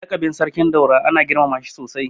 Lakabin Sarkin Daura ana girmama shi sosai.